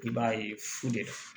I b'a ye fu de